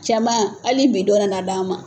Cɛman hali bi dɔ d'a ma.